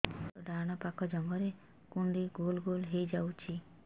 ମୋର ଡାହାଣ ପାଖ ଜଙ୍ଘରେ କୁଣ୍ଡେଇ ଗୋଲ ଗୋଲ ହେଇଯାଉଛି